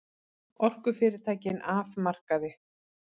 Orkufyrirtækin af markaði